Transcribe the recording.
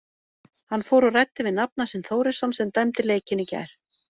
Hann fór og ræddi við nafna sinn Þórisson sem dæmdi leikinn í gær.